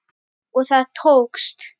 Og það tókst!